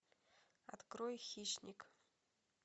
открой хищник